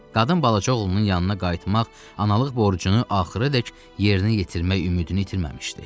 Qadın balaca oğlunun yanına qayıtmaq, analıq borcunu axıradək yerinə yetirmək ümidini itirməmişdi.